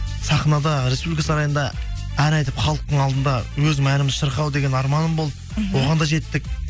сахнада республика сарайында ән айтып халықтың алдында өзімнің әнімді шырқау деген арманым болды мхм оған да жеттік